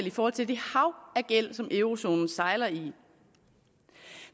i forhold til det hav af gæld som eurozonen sejler i